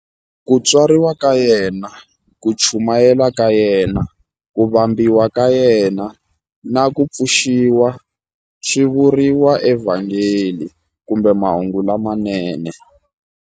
Ku tswariwa ka yena, ku chumayela ka yena, ku vambiwa ka yena, na ku pfuxiwa swi vuriwa eVhangeli kumbe Mahungu lamanene.